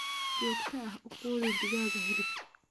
Si joogto ah u quudi digaaga hilibka.